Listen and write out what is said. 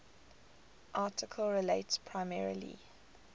article relates primarily